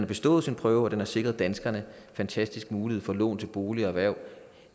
bestået sin prøve og den har sikret danskerne en fantastisk mulighed for at låne til bolig og erhverv